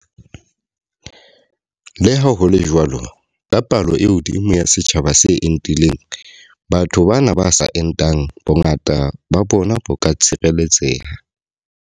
Le ha ho le jwalo, ka palo e hodimo ya setjhaba se entileng, batho bana ba sa entang, bongata ba bona bo ka tshireletseha.